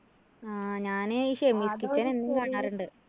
ആ ഞാനേ ഈ shammy's kitchen എന്നും കാണാറുണ്ട്.